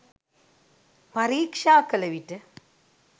පරික්ෂා කළවිට